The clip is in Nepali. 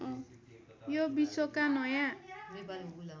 यो विश्वका नयाँ